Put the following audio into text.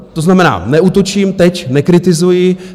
To znamená, neútočím teď, nekritizuji.